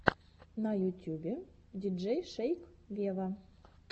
на ютюбе диджей шейк вево